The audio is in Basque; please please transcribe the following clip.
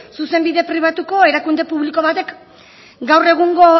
zuzenbide pribatuko erakunde publiko batek gaur egungo